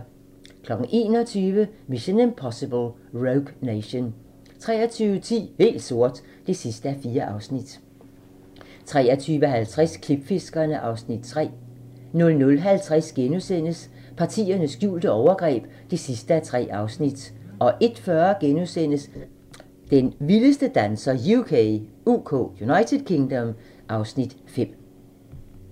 21:00: Mission: Impossible - Rogue Nation 23:10: Helt sort (4:4) 23:50: Klipfiskerne (Afs. 3) 00:50: Partiernes skjulte overgreb (3:3)* 01:40: Den vildeste danser UK (Afs. 5)*